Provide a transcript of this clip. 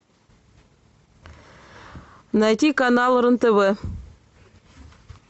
найти канал рен тв